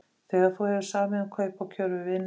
Þegar þú hefur samið um kaup og kjör við vini þína